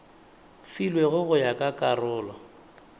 filwego go ya ka karolo